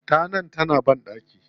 Tana ta na banɗaki.